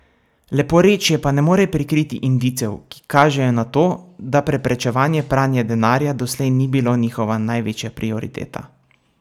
Leporečje pa ne more prikriti indicev, ki kažejo na to, da preprečevanje pranja denarja doslej ni bilo njihova največja prioriteta.